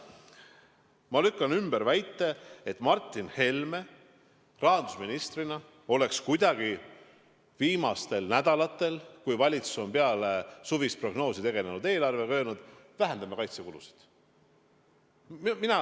Ma lükkan ümber väite, et Martin Helme on rahandusministrina viimastel nädalatel, kui valitsus on peale suvist prognoosi tegelenud eelarvega, öelnud: vähendame kaitsekulusid.